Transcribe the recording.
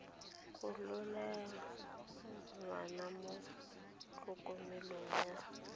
gololela ngwana mo tlhokomelong ya